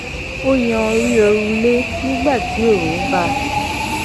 a yan ori òrùlé nígbà tí oòrùn bá